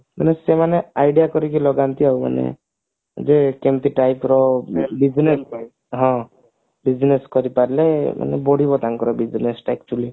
ମାନେ ସେମାନେ idea କରିକି ଲାଗନ୍ତି ମାନେ ଯୋଉ କେମତି type ର ବିଭିନ୍ନ ହଁ business କରିପାରିଲେ ମାନେ ବଢିବ ତାଙ୍କର business ଟା actually